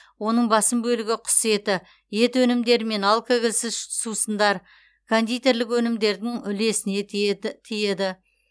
оның басым бөлігі құс еті ет өнімдері мен алкогольсіз сусындар кондитерлік өнімдердің үлесіне тиеді